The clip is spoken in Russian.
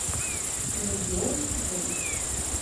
легионтрейд